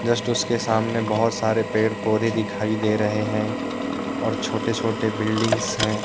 Just उसके सामने बहोत सारे पेड़ पौधे दिखाई दे रहे हैं छोटे छोटे बिल्डिंग्स हैं।